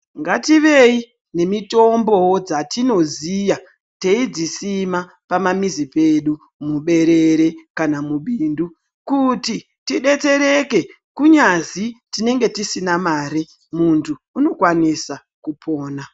Ngativei nemitombo wo dzatinoziya teyidzisima pamamizi dzedu muberere kana mubindu kuti tibetsereke kunyazi tinenge tisina Mari muntu unokwanisa kupona